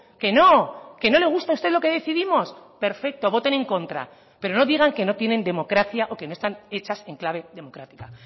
que no que no le gusta a usted lo que decidimos perfecto voten en contra pero no digan que no tienen democracia o que no están hechas en clave democrática